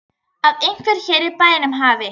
Að einhver hér í bænum hafi.